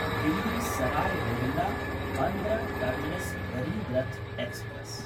Delhi Sarai रोहिल्ला–बन्द्र terminus Garib Rath express